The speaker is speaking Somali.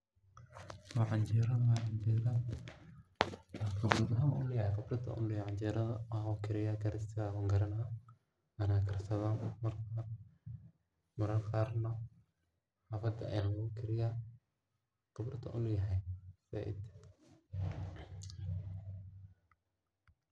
Waxan u jedo waa canjero oo qibrad ayan u leyahay canjerada karisteda oo karisteda wan garana . Maran karsadha oo maraka qarna xafada ayaa lagu kariyaa ,khibraad wan u leyahay zaid.